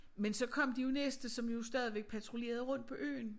Men så kom de jo næste som jo stadigvæk patruljerede rundt på øen